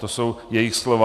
To jsou jejich slova.